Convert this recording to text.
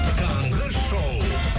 таңғы шоу